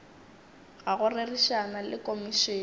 ga go rerišana le komišene